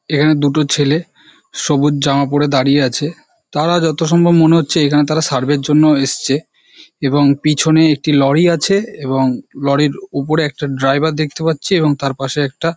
এখানে দুটো ছেলে সবুজ জামা পরে দাঁড়িয়ে আছে তারা যত সম্ভবত মনে হচ্ছে এখানে তারা সার্ভে এর জন্য এসছে এবং পিছনে একটি লরি আছে এবং লরির ওপরে একটা ড্রাইভার দেখতে পাচ্ছি তার পাশে একটা--